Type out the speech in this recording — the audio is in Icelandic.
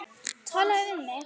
Talaðu við mig!